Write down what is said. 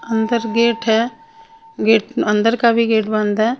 अंदर गेट है गेट अंदर का भी गेट बंद है।